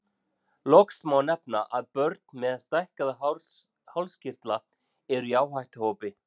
Loks má nefna að börn með stækkaða hálskirtla eru í áhættuhópi.